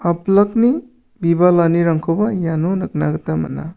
apilakni bibalanirangkoba iano nikna gita man·a.